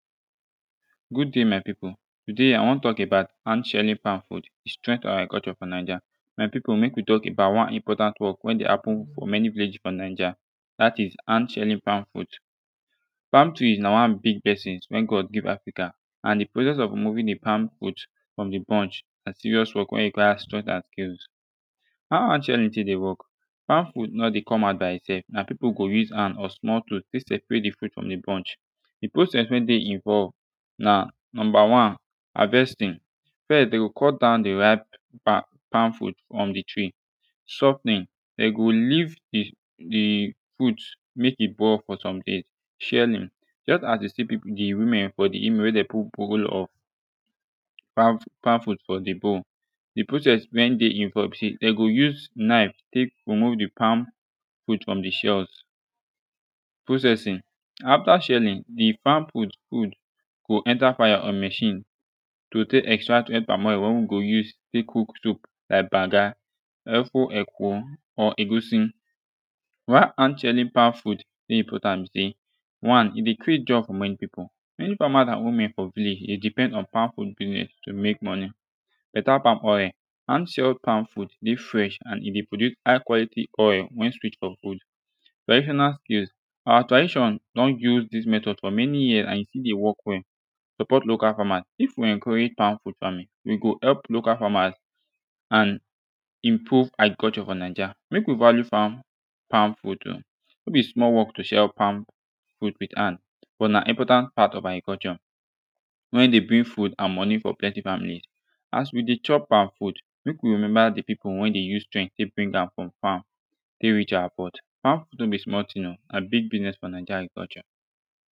Good day, my people. Today, I wan talk about hand shelling palm fruit strength to our culture for Naija. My people, mek we talk about one important work wey dey happen for many village for Naija. That is hand shelling palm fruit. Palm tree na one big blessing wey God give Africa. And the process of removing the palm fruit from the bunch na serious work wey require strength and skills. How hand sharing tek dey work? Palm fruit no dey come out by itself, na people go use hand or small tool tek separate the fruit from the bunch. The process wey dey involve na number one: harvesting. First, they will cut down the ripe palm...palm fruit from the tree. Softning, them go leave the...the fruit mek e boil for some days. Shelling: Just as you see people... the women for the image wey them put bowl of palm palm fruit for the bowl de process wey dey involved be say dem go use knife take remove de palm fruit from the shells processing: after shelling the farm go enter fire or machine to take extract de palm oil wey we go use take cook soup like banga, efo, ekwo or egusi. Why hand shelling palm fruit dey important be say one e dey create job for many people many farmers and women for village dey depend on palm fruit business to make money. Beta palm oil, hand shelling palm fruit dey fresh and e dey produce high quality oil we sweet for food traditional skills our tradition don use this method for many year and e still dey work well support local farmer, if we encourage palm fruit farming e go help local farmers and inprove agriculture for naija make we value farm palm fruit o no be small work to shell palm fruit with hand but na important part of agriculture wey dey bring food and money for plenty family as we dey chop our food make we remeber de people wey de use strength take bring am from farm take reach our pot palm fruit no be small tin o na big business for naija agriculture